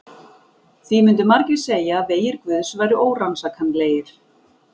Því myndu margir segja að vegir guðs væru órannsakanlegir.